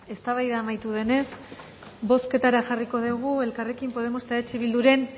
eztabaida amaitu denez bozketara jarriko dugu elkarrekin podemos eta eh bilduren